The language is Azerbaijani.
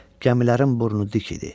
Gəmilərin burnu dik idi.